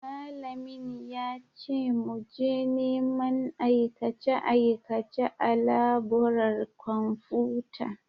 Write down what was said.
Malamin ya ce mu je neman aikace-aikace a laburar kwamfuta.